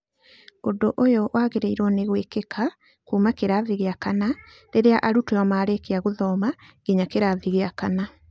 Ũndũ ũyũ wagĩrĩirwo nĩ gwĩkĩka kuuma kĩrathi gĩa kana rĩrĩa arutwo marĩkia gũthoma nginya kĩrathi gĩa kana.